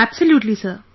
Absolutely sir